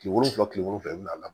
Kile wolonwula kile wolonwula bɛna